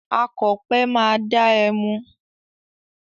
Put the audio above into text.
Akọ̀pẹ máa da ẹmu.